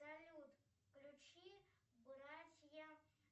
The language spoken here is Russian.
салют включи братья